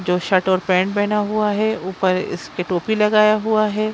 जो शर्ट और पैंट पहना हुआ है ऊपर इसके टोपी लगाया हुआ है।